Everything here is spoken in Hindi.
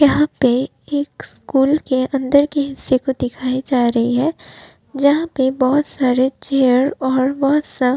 यहां पे एक स्कूल के अंदर के हिस्से को दिखायी जा रही है जहां पर बहोत सारे चेयर और बहोत सा --